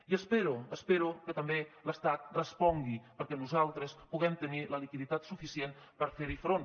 i espero que també l’estat respongui perquè nosaltres puguem tenir la liquiditat suficient per fer hi front